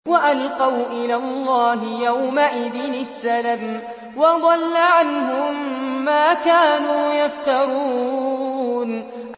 وَأَلْقَوْا إِلَى اللَّهِ يَوْمَئِذٍ السَّلَمَ ۖ وَضَلَّ عَنْهُم مَّا كَانُوا يَفْتَرُونَ